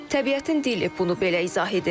Təbiətin dili bunu belə izah edir.